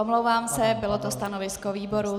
Omlouvám se, bylo to stanovisko výboru.